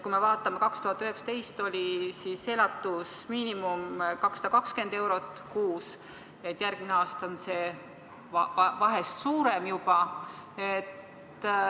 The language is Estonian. Kui me vaatame, siis 2019 oli elatusmiinimum 220 eurot kuus, järgmine aasta on see vahest suurem juba.